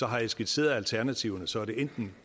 har jeg skitseret alternativerne så er det enten en